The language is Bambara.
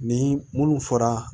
Ni munnu fɔra